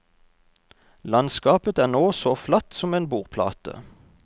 Landskapet er nå så flatt som en bordplate.